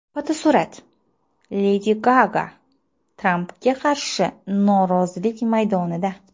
Fotosurat: Ledi Gaga Trampga qarshi norozilik namoyishida.